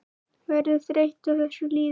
Verður þreytt á þessu lífi.